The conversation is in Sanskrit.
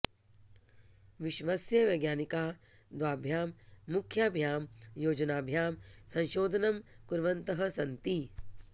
विश्वस्य वैज्ञानिकाः द्वाभ्यां मुख्याभ्यां योजनाभ्याम् संशोधनं कुर्वन्तः सन्ति